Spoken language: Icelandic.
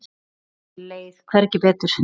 Mér leið hvergi betur.